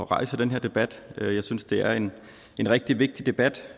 rejse den her debat jeg synes det er en rigtig vigtig debat